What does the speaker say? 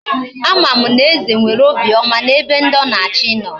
Ama m na eze nwere obi oma na ebe ndi o na achi no.